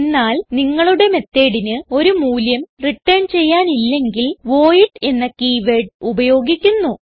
എന്നാൽ നിങ്ങളുടെ methodന് ഒരു മൂല്യം റിട്ടേൺ ചെയ്യാനില്ലെങ്കിൽ വോയിഡ് എന്ന കീ വേർഡ് ഉപയോഗിക്കുന്നു